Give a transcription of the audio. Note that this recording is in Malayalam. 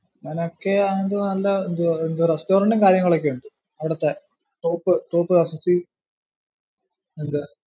അതൊക്കെ ആണെങ്കിലും നല്ല restaurant ഉം കാര്യങ്ങളും ഒക്കെ ഉണ്ട് അവിടുത്തെ തോപ്പ് .